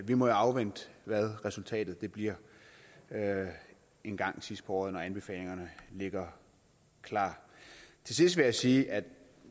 vi må afvente hvad resultatet bliver engang sidst på året når anbefalingerne ligger klar til sidst vil jeg sige at